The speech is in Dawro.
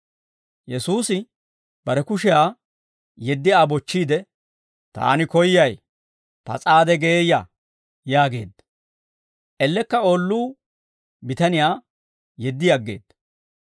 Yesuusi bare kushiyaa yeddi Aa bochchiide, «Taani koyyay; pas'aade geeyya!» yaageedda. Ellekka oolluu bitaniyaa yeddi aggeedda.